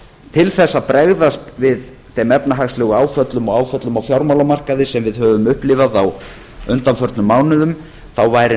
til þess að bregðast við þeim efnahagslegu áföllum og áföllum á fjármálamarkaði sem við höfum upplifað á undanförnum mánuðum væri